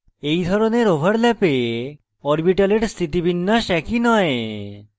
in ধরনের ওভারল্যাপে orbitals স্থিতিবিন্যাস একই নয়